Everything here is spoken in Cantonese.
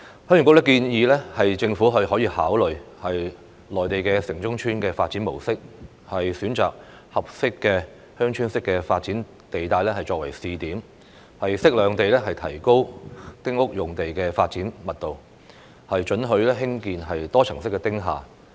鄉議局建議政府可以參考內地城中村的發展模式，選擇合適的鄉村式發展地帶作為試點，適量地提高丁屋用地的發展密度，准許興建多層式"丁廈"。